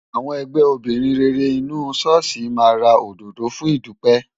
Àwọn ẹgbẹ́ obìnrin rere inú ṣọ́ọ̀ṣì máa ra òdòdó fún ìdúpẹ́.